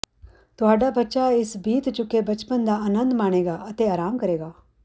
ਤੁਹਾਡਾ ਬੱਚਾ ਇਸ ਬੀਤ ਚੁੱਕੇ ਬਚਪਨ ਦਾ ਅਨੰਦ ਮਾਣੇਗਾ ਅਤੇ ਆਰਾਮ ਕਰੇਗਾ